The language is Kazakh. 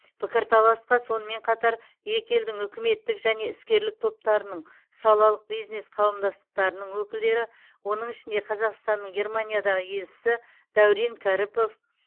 пікірталасқа сонымен қатар екі елдің үкіметтік және іскерлік топтарының салалық бизнес қауымдастықтарының өкілдері оның ішінде қазақстанның германиядағы елшісі дәурен кәріпов